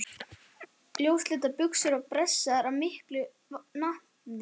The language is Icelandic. Ljósleitar buxur pressaðar af mikilli natni.